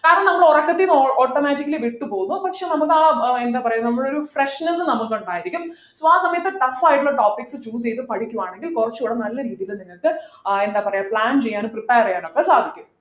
കാരണം നമ്മൾ ഉറക്കത്തിനിന്ന് automatically വിട്ടുപോകും പക്ഷെ നമുക്ക് ആഹ് എന്താ പറയാ നമ്മളെയൊരു freshness നമുക്കുണ്ടായിരിക്കും so ആ സമയത്ത് tough ആയിട്ടുള്ള topics choose ചെയ്തു പഠിക്കുകയാണെങ്കിൽ കുറച്ചുകൂടെ നല്ല രീതിയിൽ നിങ്ങൾക്ക് ആഹ് എന്താ പറയാ plan ചെയ്യാനും prepare ഒക്കെ സാധിക്കും